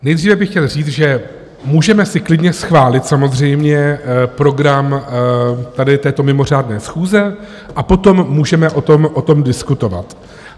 Nejdříve bych chtěl říct, že si můžeme klidně schválit samozřejmě program tady této mimořádné schůze a potom můžeme o tom diskutovat.